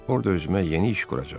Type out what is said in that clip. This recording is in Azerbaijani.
Orda özümə yeni iş quracam.